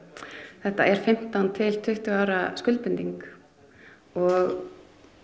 þetta er fimmtán til tuttugu ára skuldbinding og